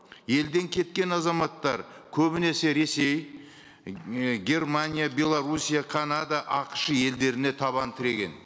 елден кеткен азаматтар көбінесе ресей ы германия белоруссия канада ақш елдеріне табан тіреген